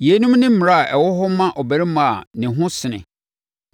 Yeinom ne mmara a ɛwɔ hɔ ma ɔbarima a ne ho sene